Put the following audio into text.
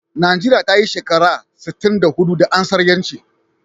Nigeria tayi shekara sitin da hudu da ansar yanci